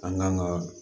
An kan ka